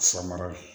Samara de ye